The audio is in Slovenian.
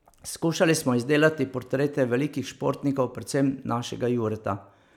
Skušali smo izdelati portrete velikih športnikov, predvsem našega Jureta.